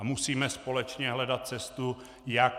A musíme společně hledat cestu, jak -